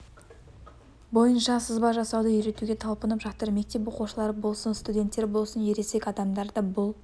бойынша сызба жасауды үйретуге талпынып жатыр мектеп оқушылары болсын студенттер болсын ересек адамдар да бұл